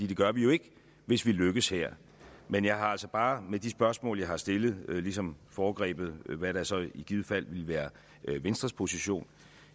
det gør vi jo ikke hvis vi lykkes her men jeg har altså bare med de spørgsmål jeg har stillet ligesom foregrebet hvad der så i givet fald ville være venstres position